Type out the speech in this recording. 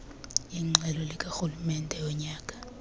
iingxelo zikarhulumente zonyaka